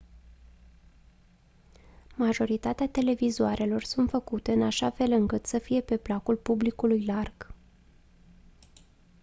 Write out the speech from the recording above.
majoritatea televizoarelor sunt făcute în așa fel încât să fie pe placul publicului larg